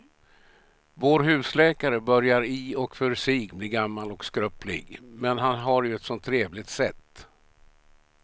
Vår husläkare börjar i och för sig bli gammal och skröplig, men han har ju ett sådant trevligt sätt!